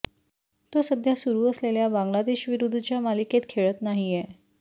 तो सध्या सुरु असलेल्या बांगलादेशविरुद्धच्या मालिकेत खेळत नाहीये